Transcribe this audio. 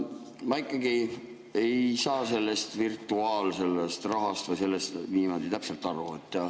Ma ikkagi ei saa sellest virtuaalrahast või kõigest sellest niimoodi täpselt aru.